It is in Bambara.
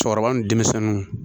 Cɛkɔrɔba ni denmisɛnninw